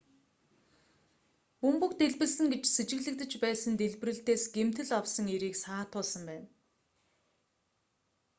бөмбөг дэлбэлсэн гэж сэжиглэгдэж байсан дэлбэрэлтээс гэмтэл авсан эрийг саатуулсан байна